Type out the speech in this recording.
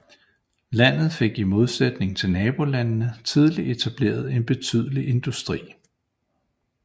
Landet fik i modsætning til nabolandene tidligt etableret en betydelig industri